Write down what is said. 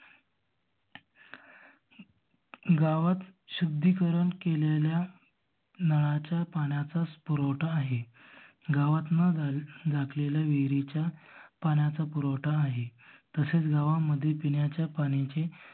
गावात शुद्दिकरण केलेल्या नळाच्या पाण्याचा पुरवठा आहे. गावात न झाकलेल्या विहरीच्या पाण्याचा पुरवठा आहे. तसेच गावामध्ये पिणाच्या पाण्याचे